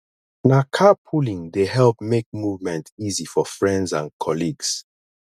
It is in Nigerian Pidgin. na carpooling dey help make movement easy for friends and colleagues